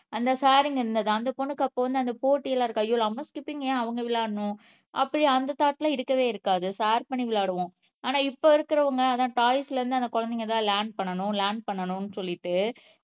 அந்த ஷேரிங்க இருந்தது அந்த பொண்ணுக்கு அப்போ வந்து அந்த போட்டியில இருக்கா ஐயோ நம்ப ஸ்கிப்பிங் ஏன் அவங்க விளையாடனும் அப்படி அந்த தாட்லாம் இருக்கவே இருக்காது ஷேர் பண்ணி விளையாடுவோம் ஆனா இப்ப இருக்கறவங்க ஆனா டாய்ஸ்ல இருந்து அந்த குழந்தைங்கதான் லேர்ன் பண்ணணும் லேர்ன் பண்ணணும்னு சொல்லிட்டு